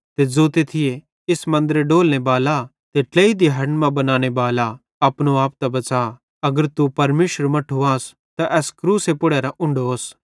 ते ज़ोते थी इस मन्दरे डोलने बाला ते ट्लेई दिहड़न मां बनाने बाला अपनो आप त बच़ा अगर तू परमेशरेरू मट्ठू आस त एस क्रूसे पुड़रां उन्ढो ओस